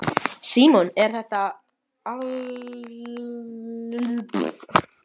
Símon: Er þetta áfellisdómur, til dæmis yfir sérstökum og ákæruvaldinu?